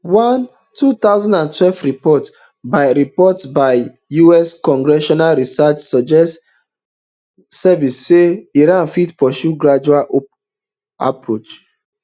one two thousand and twelve report by report by us congressional research service suggest say iran fit pursue gradual approach um